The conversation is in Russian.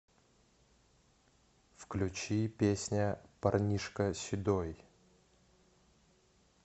включи песня парнишка седой